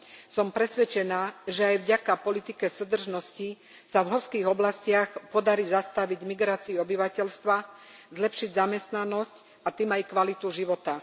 Som presvedčená, že aj vďaka politike súdržnosti sa v horských oblastiach podarí zastaviť migráciu obyvateľstva, zlepšiť zamestnanosť, a tým aj kvalitu života.